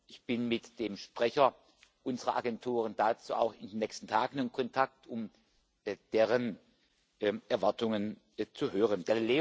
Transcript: Ich bin mit dem Sprecher unserer Agenturen dazu auch in den nächsten Tagen in Kontakt, um deren Erwartungen zu hören.